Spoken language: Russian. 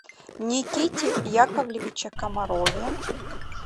никите яковлевиче комарове